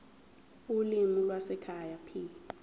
ulimi lwasekhaya p